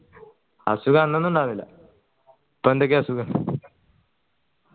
അസുഖം അന്നൊന്നും ഇണ്ടയ്ർന്നില്ല തൊണ്ടയ്ക്ക് അസുഖം